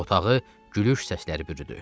Otağı gülüş səsləri bürüdü.